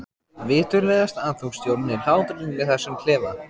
Viturlegast að þú stjórnir hlátrinum í þessum klefa.